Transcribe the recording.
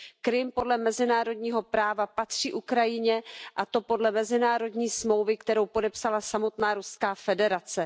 Krym podle mezinárodního práva patří Ukrajině, a to podle mezinárodní smlouvy, kterou podepsala samotná Ruská federace.